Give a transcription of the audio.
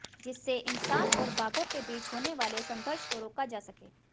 जिससे इंसान और बाघों के बीच होने वाले संघर्ष को रोका जा सके